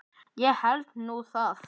Ég held nú það!